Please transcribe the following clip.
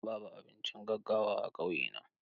Babu abincin gaggawa a ƙauyena.